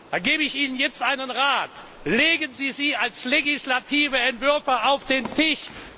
Da gebe ich Ihnen jetzt einen Rat Legen Sie sie als legislative Entwürfe auf den Tisch!